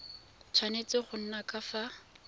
tshwanetse go nna ka fa